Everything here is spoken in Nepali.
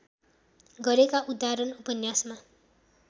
गरेका उदाहरण उपन्यासमा